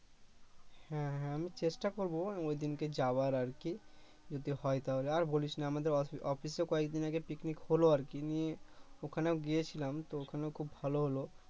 হ্যা হ্যা আমি চেষ্টা করব এবং ওইদিনকে যাওয়ার আরকি যদি হয় তাহলে আর বলিস না আমাদের অফি~ অফিসে কয়েকদিন আগে পিকনিক হলো আরকি নিয়ে ওখানেও গিয়েছিলাম তো ওখানেও খুব ভাল হলো